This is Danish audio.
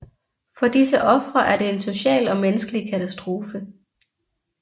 For disse ofre er det en social og menneskelig katastrofe